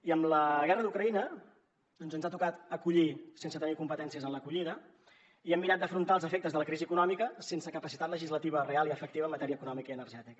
i amb la guerra d’ucraïna doncs ens ha tocat acollir sense tenir competències en l’acollida i hem mirat d’afrontar els efectes de la crisi econòmica sense capacitat legislativa real i efectiva en matèria econòmica i energètica